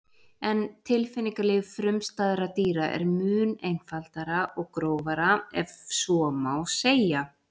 en tilfinningalíf frumstæðra dýra er mun einfaldara og grófara ef svo má segja